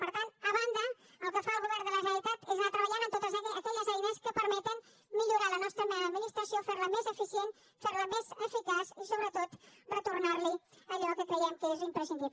per tant a banda el que fa el govern de la generalitat és anar treballant en totes aquelles eines que permeten millorar la nostra administració ferla més eficient ferla més eficaç i sobretot retornarli allò que creiem que és imprescindible